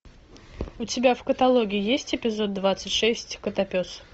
у тебя в каталоге есть эпизод двадцать шесть котопес